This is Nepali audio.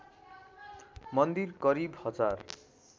मन्दिर करिब हजार